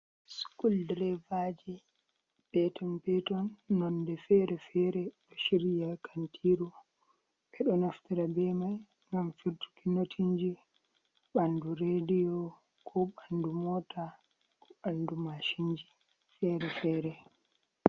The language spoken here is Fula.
Sukul direva ji peeton-peeton, noonde feere-feere. Ɗo shiryi haa kantiru. Ɓe ɗo naftira be mai ngam firtuki notinji ɓandu rediyo, ko ɓandu moota, ko ɓandu mashin ji feere-feere.